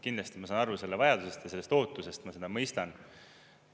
Kindlasti ma saan aru selle vajadusest ja sellest ootusest, ma seda mõistan.